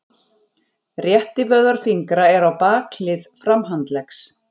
Réttivöðvar fingra eru á bakhlið framhandleggs.